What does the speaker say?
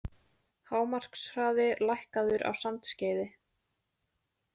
Hámarkshraði lækkaður á Sandskeiði